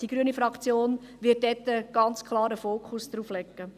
Die grüne Fraktion wird ganz klar einen Fokus auf diesen Punkt legen.